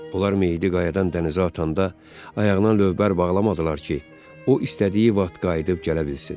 Onlar meyidi qayadan dənizə atanda ayağına lövbər bağlamadılar ki, o istədiyi vaxt qayıdıb gələ bilsin.